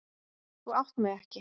Þú átt mig ekki.